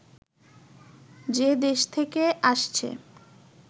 যে দেশ থেকে আসছে